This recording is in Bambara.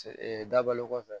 dabalo kɔfɛ